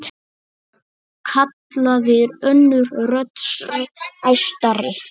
kallaði önnur rödd, æstari.